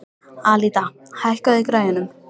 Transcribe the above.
Alida, hækkaðu í græjunum.